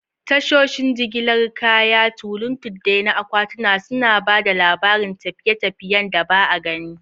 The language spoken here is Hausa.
Tashoshin jigilar kaya, tulin tuddai na akwatuna, suna ba da labarin tafiye-tafiyen da ba a gani ba.